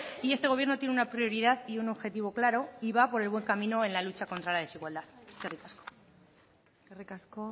y este gobierno tienen una prioridad y un objetivo claro y va por el buen camino en la lucha contra la desigualdad eskerrik asko eskerrik asko